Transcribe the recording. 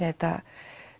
þetta